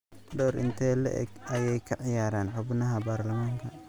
Door intee le'eg ayay kaciyaaran xubnaha baarlamaanka?